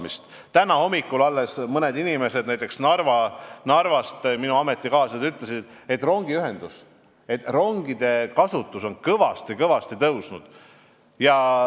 Alles täna hommikul mõned inimesed, näiteks minu ametikaaslased Narvast, ütlesid, et rongide kasutus on kõvasti-kõvasti tõusnud.